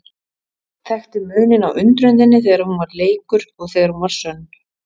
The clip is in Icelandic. Þekkti muninn á undrun þinni þegar hún var leikur og þegar hún var sönn.